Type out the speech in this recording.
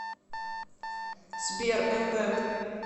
сбер эмбэнд